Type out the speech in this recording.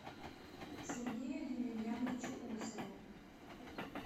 сергею емельяновичу усову